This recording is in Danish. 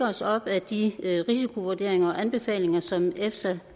os op ad de risikovurderinger og anbefalinger som efsa